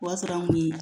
O y'a sɔrɔ an kun